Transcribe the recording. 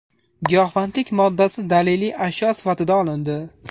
Giyohvandlik moddasi daliliy ashyo sifatida olindi.